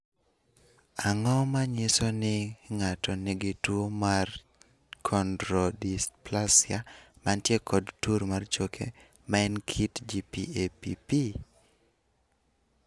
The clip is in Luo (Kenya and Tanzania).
Ang�o ma nyiso ni ng�ato nigi tuo mar Chondrodysplasia mantie kod tur mar choke, ma en kit GPAPP?